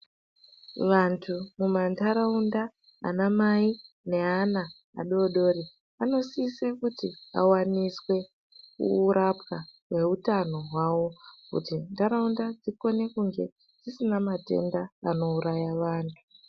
Vantu mumantaraunda anamai neana vadodori. Vanosise kuti avaniswe kurapwa kweutano hwavo. Kuti nharaunda dzikone kunge dzisina matenda anouraya vantu.